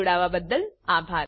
જોડાવાબદ્દલ આભાર